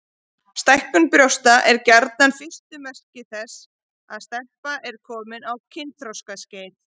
Stækkun brjósta er gjarnan fyrstu merki þess að stelpa er komin á kynþroskaskeið.